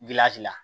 la